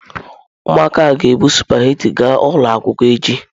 Ụmụaka a ga-ebu sụpaghetị ga ụlọ akwụkwọ echi?